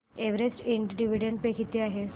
Everest Ind dividend pay किती आहे